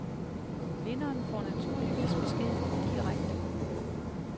Vinderen får naturligvis besked direkte.